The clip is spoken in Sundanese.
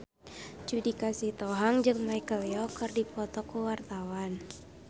Judika Sitohang jeung Michelle Yeoh keur dipoto ku wartawan